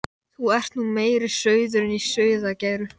Þú ert nú meiri sauðurinn í sauðargæru.